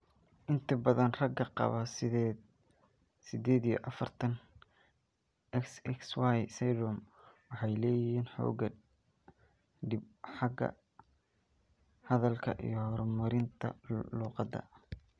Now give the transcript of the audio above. Inta badan ragga qaba sided iyo afartan, XXYY syndrome waxay leeyihiin xoogaa dhib ah xagga hadalka iyo horumarinta luqadda.